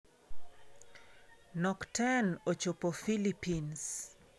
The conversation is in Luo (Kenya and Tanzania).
Nock Ten ochopo Philippines